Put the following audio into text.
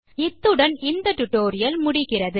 இத்துடன் இந்த spoken tutorial முடிகிறது